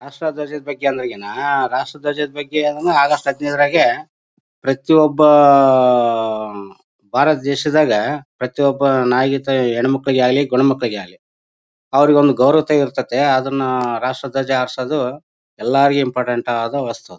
ರಾಷ್ಟ್ರ ಧ್ವಜ ದ ಬಗ್ಗೆ ಅಲ್ಲಾ ಈಗ ನಾ ರಾಷ್ಟ್ರ ಧ್ವಜ ಬಗ್ಗೆ ಆಗಸ್ಟ್ ಹದಿನೈದ ರಾಗೆ ಪ್ರತಿಯೊಬ್ಬ ಆಹ್ಹ್ ಭಾರತ ದೇಶದಾಗ ಪ್ರತಿಯೊಬ್ಬ ನಾಗರೀಕತೆ ಹೆಣ್ಣು ಮಕ್ಕಳಿಗೆ ಆಗ್ಲಿ ಗಂಡು ಮಕ್ಕಳಿಗೆ ಅಗ್ಲಿ ಅವರಿಗೊಂದು ಗೌರವತೆ ಇರುತ್ತದೆ ಅದನ್ನ ರಾಷ್ಟ್ರ ಧ್ವಜ ಹಾರಿಸೋದು ಎಲ್ಲಾರಿಗೂ ಇಂಪಾರ್ಟೆಂಟ್ ಅದಾ ವಸ್ತು